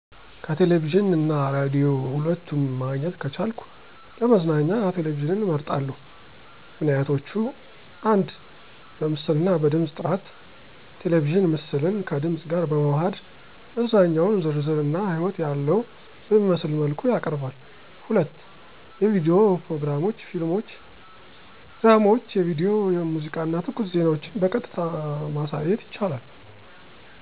ከቴሌቪዥን እና ራዲዮ ሁለቱም ማግኘት ከቻልኩ ለመዝናኛ ቴሌቪዥንን እመርጣለሁ። ምክንያቶች: 1. በምስል እና በድምጽ ጥራት ቴሌቪዥን ምስልን ከድምጽ ጋር በማዋሃድ መዝናኛውን ዝርዝር እና ሕይወት ያለዎ በሚመስል መልኩ ያቀርባል። 2. የቪዲዮ ፕሮግራሞች ፊልሞች ድራማዎች የቪዲዮ ሙዚቃ እና ትኩስ ዜናዎችን በቀጥታ ማሳየት ይችላል።